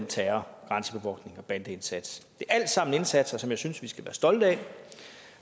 terror grænsebevogtning og bandeindsats er alt sammen indsatser som jeg synes vi skal være stolte af